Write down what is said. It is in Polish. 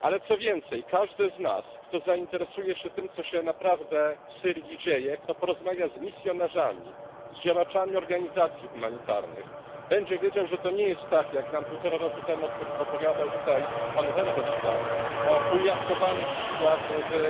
ale, co więcej, każdy z nas, kto zainteresuje się tym, co się naprawdę w Syrii dzieje, kto porozmawia z misjonarzami, z działaczami organizacji humanitarnych, będzie wiedział, że to nie jest tak, jak nam półtora roku temu opowiadał tutaj pan Verhofstadt o umiarkowanych siłach w